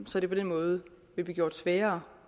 så det på den måde vil blive gjort sværere